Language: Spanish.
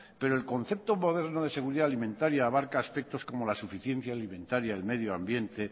pero el concepto moderno de seguridad alimentaria abarca aspectos como la suficiencia alimentaria el medio ambiente